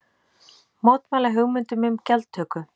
Mótmæla hugmyndum um gjaldtöku